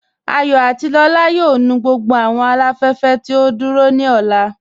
Àyọ̀ àti Lọla yóò nù gbogbo awọn aláfẹ̀fẹ̀ tí o dúró ni ọlá.